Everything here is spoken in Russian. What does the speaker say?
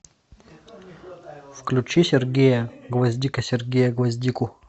включи сергея гвоздика сергея гвоздику